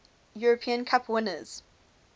european cup winners